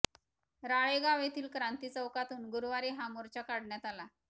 राळेगांव येथील क्रांती चौकातून गुरुवारी हा मोर्चा काढण्यात आला